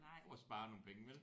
For at spare nogle penge vel